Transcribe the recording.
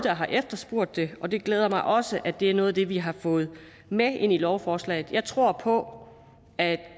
har efterspurgt det og det glæder mig også at det er noget af det vi har fået med ind i lovforslaget jeg tror på at